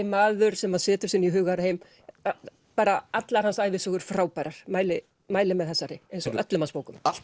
maður sem setur sig inn í hugarheim allar hans ævisögur frábærar mæli mæli með þessari eins og öllum hans bókum allt